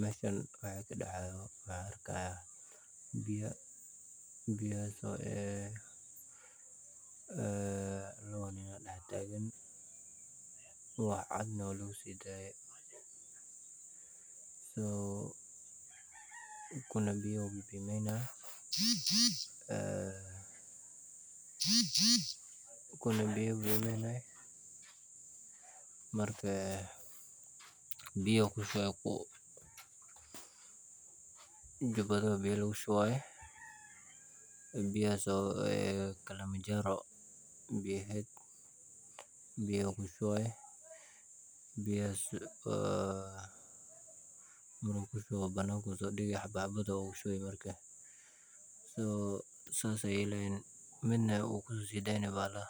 Mashan waxaan ka dah arayoh biya biyahas oo ah, aa lawa nin oo daxtagan, wax cad nah wa lugu siday, so kuna miya ayu bimaynahaya, aa kuna biya ayu bimaynahaya, marka ku biyaha ayu ku shubahaya, juba aya biyo laku shubahaya, biyahas oo ah galoman jaro, biyo ku shubahaya biyahas oo marka ku shuboh banayka ayu sodogi xab xabado ogi shubi so saas ay lahan mid na ugu sosidaynayoh bahalaha